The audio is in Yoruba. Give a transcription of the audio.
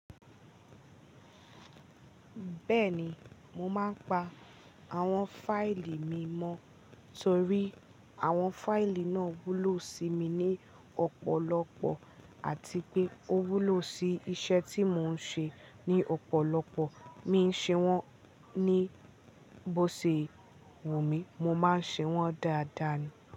Bẹ́ẹ̀ni, mo máa ń pa àwọn fáìlì mi mọ́ torí àwọn fáìlì náà wúlò sí mi ní ọ̀pọ̀lọpọ̀ àti pé ó wúlò sí iṣẹ́ tí mò ń ṣe ní ọ̀pọ̀lọpọ̀. Mi i ńṣe wọ́n ní bó ṣe wu mí, mo máa ń ṣe wọ́n dáadáa ni.